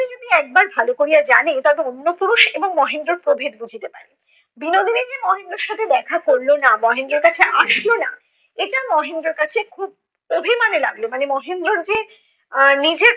Knee যদি একবার ভাল করিয়া জানে তবে অন্য পুরুষ এবং মহেন্দ্রর প্রভেদ বুঝিতে পারবে। বিনোদিনী যে মহেন্দ্রর সাথে দেখা করল না, মহেন্দ্রর কাছে আসল না, এটা মহেন্দ্রের কাছে খুব অভিমানে লাগল মানে মহেন্দ্রর যে আহ নিজের